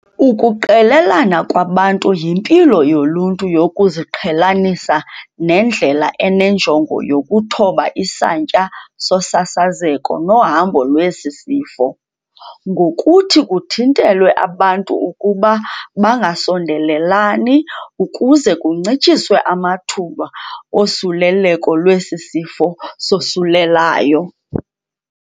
Ukuqelelana kwabantu yimpilo yoluntu yokuziqhelanisa nendlela enenjongo yokuthoba isantya sosasazeko nohambo lwesi sifo, ngokuthi kuthintelwe abantu ukuba bangasondelelani ukuze kuncitshiswe amathuba osuleleko lwesi sifo sosulelayo.